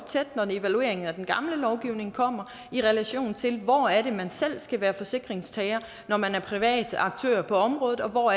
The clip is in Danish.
tæt når evalueringen af den gamle lovgivning kommer i relation til hvor det er man selv skal være forsikringstager når man er privat aktør på området og hvor